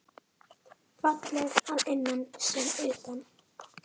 Fallega að innan sem utan.